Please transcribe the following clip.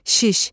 Şiş,